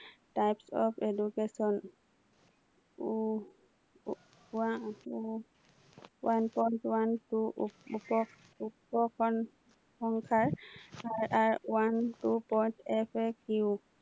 types of education one point one faq